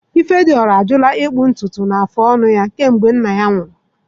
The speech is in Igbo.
Ifediora ajụla ịkpụ ntutu na ịkpụcha afụ ọnụ ya kemgbe nna ya nwụrụ.